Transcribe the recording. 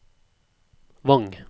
Vang